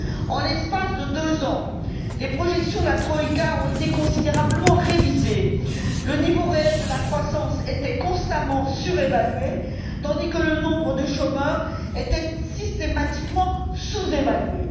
En l'espace de deux ans, les projections de la troïka ont été considérablement révisées, le niveau réel de la croissance était constamment surévalué, tandis que le nombre de chômeurs était systématiquement sous évalué.